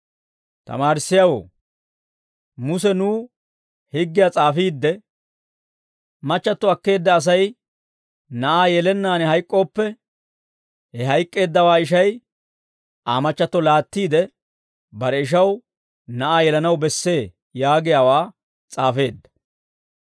«Tamaarissiyaawoo, Muse nuw higgiyaa s'aafiidde, ‹Machchatto akkeedda Asay na'aa yelennaan hayk'k'ooppe, he hayk'k'eeddawaa ishay Aa machchatto laattiide, bare ishaw na'aa yelanaw bessee› yaagiyaawaa s'aafeedda.